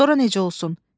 Sonra necə olsun?